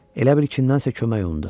Elə bil kimsə kömək umdu.